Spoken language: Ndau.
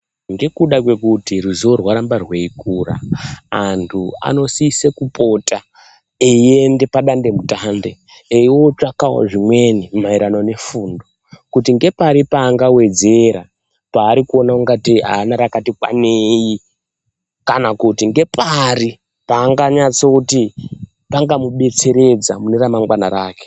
Ngekuda kwekuti ruzivo rwaramba rweikura antu anosise kupota kuenda padandemutande eiotsvakawo zvimweni maererano nefundo kuti ngepari paangawedzera paari kuona kuti panoda ungatei haana rakati kwanei. Kana kuti ngepari paanganyatso kuti pangamudetseredza mune ramangwana rake.